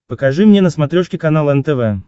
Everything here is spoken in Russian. покажи мне на смотрешке канал нтв